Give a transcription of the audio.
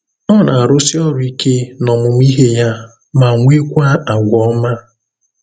Ọ na-arụsi ọrụ ike n’ọmụmụ ihe ya, ma nwekwa àgwà ọma.”